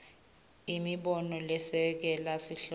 imibono lesekela sihloko